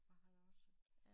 Og han er også